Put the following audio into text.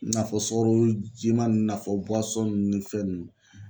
N'a fɔ sukaro jima nn n'a fɔ nn ni fɛn ninnu